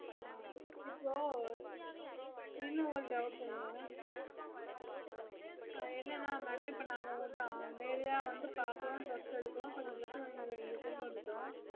ஆஹ் இப்போ இனொரு doubt ங்க ஆஹ் என்னனா madam நாங்க உங்ககிட்ட நேரடியா வந்து பாக்குறோம் dress எடுக்குறோம் கொஞ்ச இங்க கொண்டு வந்துட்டோம்